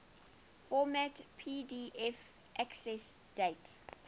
format pdf accessdate